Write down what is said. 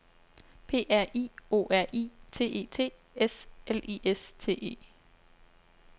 P R I O R I T E T S L I S T E